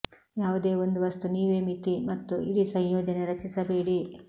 ಯಾವುದೇ ಒಂದು ವಸ್ತು ನೀವೇ ಮಿತಿ ಮತ್ತು ಇಡೀ ಸಂಯೋಜನೆ ರಚಿಸಬೇಡಿ